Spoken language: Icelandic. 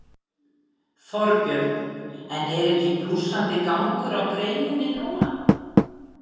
Þorbjörn: En er ekki blússandi gangur á greininni núna?